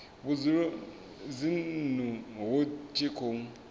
vhudzulo dzinnu hu tshi khou